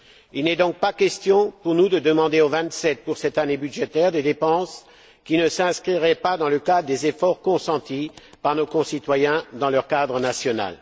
Il n'est donc pas question pour nous de demander aux vingt sept, pour cette année budgétaire, des dépenses qui ne s'inscriraient pas dans le cadre des efforts consentis par nos concitoyens dans leur cadre national.